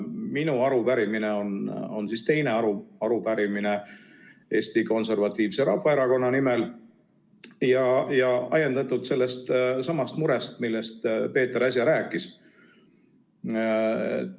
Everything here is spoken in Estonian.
Minu arupärimine on teine aruarupärimine Eesti Konservatiivse Rahvaerakonna nimel ja ajendatud sellestsamast murest, millest Peeter äsja rääkis.